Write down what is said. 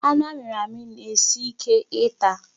Anụ amịrị amị na-esi Ike ịta.